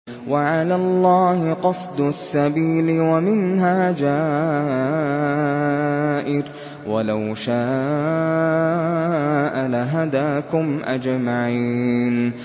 وَعَلَى اللَّهِ قَصْدُ السَّبِيلِ وَمِنْهَا جَائِرٌ ۚ وَلَوْ شَاءَ لَهَدَاكُمْ أَجْمَعِينَ